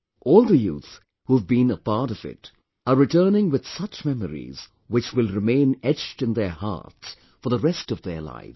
All the youth who have been a part of it, are returning with such memories, which will remain etched in their hearts for the rest of their lives